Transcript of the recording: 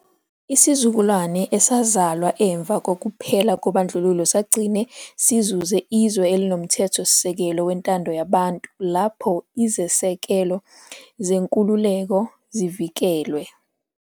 Isizukulwane esazalwa emva kokuphela kobandlululo sagcine sizuze izwe elinoMthethosisekelo wentando yabantu lapho izisekelo zenkululeko zivikelwe.